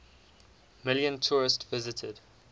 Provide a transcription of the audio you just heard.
million tourists visited